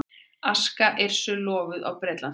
Aska Yrsu lofuð á Bretlandseyjum